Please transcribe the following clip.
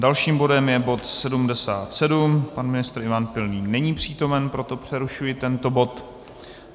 Dalším bodem je bod 77, pan ministr Ivan Pilný není přítomen, proto přerušuji tento bod.